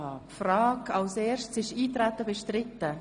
Ist das Eintreten bestritten?